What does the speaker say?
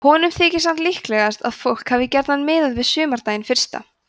honum þykir samt líklegt að fólk hafi gjarnan miðað við sumardaginn fyrsta